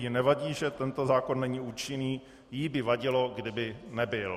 Jí nevadí, že tento zákon není účinný, jí by vadilo, kdyby nebyl.